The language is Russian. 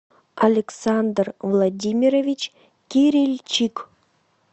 александр владимирович кирильчик